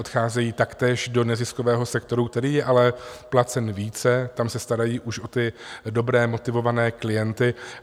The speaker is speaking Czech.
Odcházejí taktéž do neziskového sektoru, který je ale placen více, tam se starají už o ty dobré, motivované klienty.